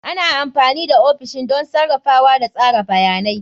Ana amfani da ofishin don sarrafawa da tsara bayanai.